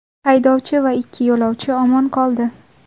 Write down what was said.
Haydovchi va ikki yo‘lovchi omon qoldi.